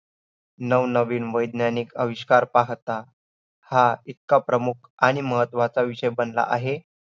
अशा या आयुर्वेद शास्त्राचा पाया म्हणजे प्रथम वर्गीय BAMS असलेला क्रियाचारीन हा विषय घेऊन या विषयामधये आपण आयुर्वेद क्षेत्राची परीभाषा शिकणार आहोत.